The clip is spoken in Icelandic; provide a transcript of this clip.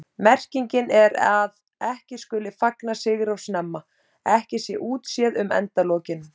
Merkingin er að ekki skuli fagna sigri of snemma, ekki sé útséð um endalokin.